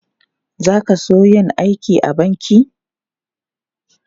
Za ka so yin aiki a banki?